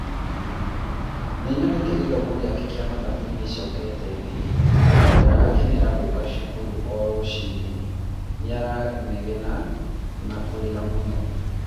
nĩnyonete gĩthomo gĩake kĩa mathabu nĩacokete thĩ na ndarakenera gũka cukuru o rũcinĩ, nĩaranegena na kũrĩra mũno